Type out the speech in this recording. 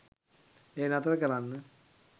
එය නතර කරන්න